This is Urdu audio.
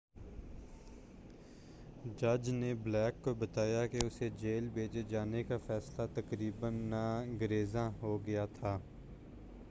جج نے بلیک کو بتایا کہ اسے جیل بھیجے جانے کا فیصلہ تقریباً ناگزیر ہو گیا تھا